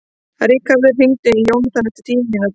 Ríkharður, hringdu í Jónathan eftir tíu mínútur.